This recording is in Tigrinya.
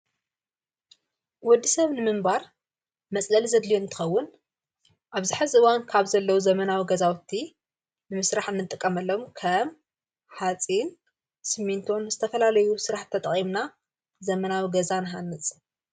ወዲ ሰብ ንምምባር መጽለሊ ዘድልየ ንትኸውን ኣብዝኃ ዝዋን ካብ ዘለዉ ዘመናዊ ገዛውቲ ንምሥራሕ እንጥቀመሎም ከም ኃጺን ስምንቶን ዝተፈላለዩ ሥራሕ ተጠቒምና ዘመናዊ ገዛ ንሓንጽ::